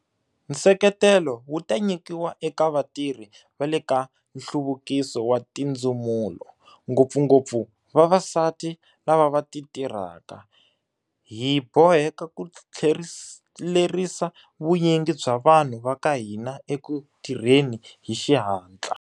Nseketelo wu ta nyikiwa eka vatirhi va le ka Nhluvukiso wa Tindzumulo, ngopfungopfu vavasati lava va titirhaka. Hi boheka ku tlhelerisa vunyingi bya vanhu va ka hina eku tirheni hi xihatla.